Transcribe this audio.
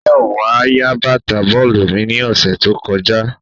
Mayowa ya bata bọọlu mi ni ọsẹ to kọja